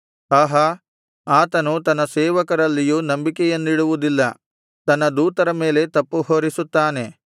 ಆಹಾ ಆತನು ತನ್ನ ಸೇವಕರಲ್ಲಿಯೂ ನಂಬಿಕೆಯನ್ನಿಡುವುದಿಲ್ಲ ತನ್ನ ದೂತರ ಮೇಲೆ ತಪ್ಪುಹೊರಿಸುತ್ತಾನೆ